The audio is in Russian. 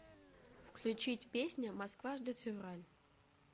включить песня москва ждет февраль